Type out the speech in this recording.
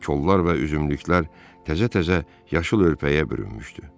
Kollar və üzümlüklər təzə-təzə yaşıl örpəyə bürünmüşdü.